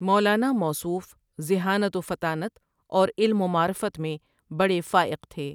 مولاناموصوف ذہانت وفطانت اورعلم ومعرفت میں بڑےفائق تھے ۔